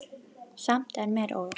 Samt er mér órótt.